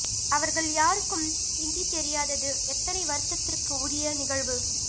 அவர்கள் யாருக்கும் இந்தி தெரியாதது எத்தனை வருத்தத்திற்கு உரிய நிகழ்வு